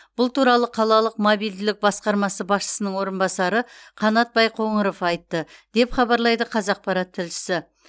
бұл туралы қалалық мобильділік басқармасы басшысының орынбасары қанат байқоңыров айтты деп хабарлайды қазақпарат тілшісі